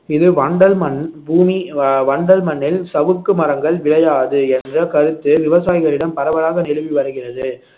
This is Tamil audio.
இது வண்டல்மண் பூமி வ~ வண்டல் மண்ணில் சவுக்கு மரங்கள் விளையாது என்ற கருத்து விவசாயிகளிடம் பரவலாக நிலவிவருகிறது